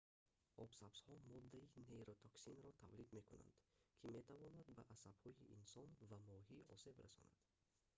обсабзҳо моддаи нейротоксинро тавлид мекунанд ки метавонад ба асабҳои инсон ва моҳӣ осеб расонад